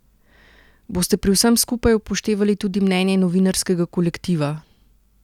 Boste pri vsem skupaj upoštevali tudi mnenje novinarskega kolektiva?